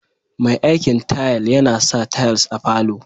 Me aikin tayal yana sa tayals a falo